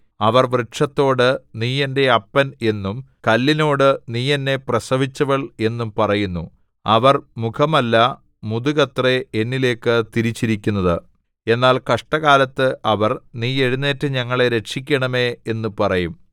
അവർ വൃക്ഷത്തോട് നീ എന്റെ അപ്പൻ എന്നും കല്ലിനോട് നീ എന്നെ പ്രസവിച്ചവൾ എന്നും പറയുന്നു അവർ മുഖമല്ല മുതുകത്രേ എന്നിലേക്കു തിരിച്ചിരിക്കുന്നത് എന്നാൽ കഷ്ടകാലത്ത് അവർ നീ എഴുന്നേറ്റു ഞങ്ങളെ രക്ഷിക്കണമേ എന്ന് പറയും